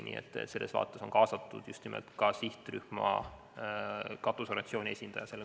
Nii et sellele kohtumisele on kaasatud ka just nimelt sihtrühma katusorganisatsiooni esindaja.